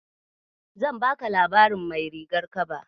Zan baka labarin mai rigar kaba.